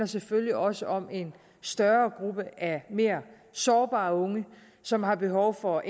selvfølgelig også om en større gruppe af mere sårbare unge som har behov for